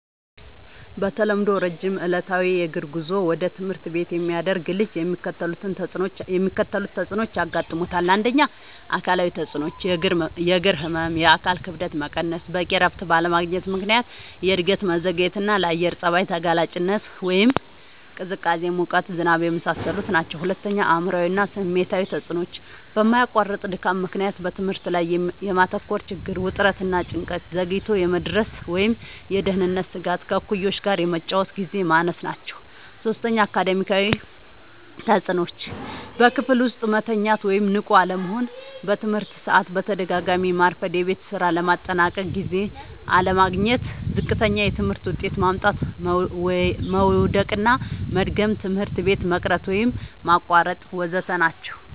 በተለምዶ ረጅም ዕለታዊ የእግር ጉዞ ወደ ትምህርት ቤት የሚያደርግ ልጅ የሚከተሉት ተጽዕኖዎች ያጋጥሙታል። ፩. አካላዊ ተጽዕኖዎች፦ · የእግር ህመም፣ የአካል ክብደት መቀነስ፣ በቂ እረፍት ባለማግኘት ምክንያት የእድገት መዘግየትና፣ ለአየር ጸባይ ተጋላጭነት (ቅዝቃዜ፣ ሙቀት፣ ዝናብ) የመሳሰሉት ናቸዉ። ፪. አእምሯዊ እና ስሜታዊ ተጽዕኖዎች፦ በማያቋርጥ ድካም ምክንያት በትምህርት ላይ የማተኮር ችግር፣ ውጥረት እና ጭንቀት፣ ዘግይቶ የመድረስ ወይም የደህንነት ስጋት፣ ከእኩዮች ጋር የመጫወቻ ግዜ ማነስ ናቸዉ። ፫. አካዳሚያዊ ተጽዕኖዎች፦ · በክፍል ውስጥ መተኛት ወይም ንቁ አለመሆን፣ በትምህርት ሰዓት በተደጋጋሚ ማርፈድ፣ የቤት ስራ ለማጠናቀቅ ጊዜ አለማግኘት፣ ዝቅተኛ የትምህርት ውጤት ማምጣት፣ መዉደቅና መድገም፣ ትምህርት ቤት መቅረት ወይም ማቋረጥ ወ.ዘ.ተ ናቸዉ።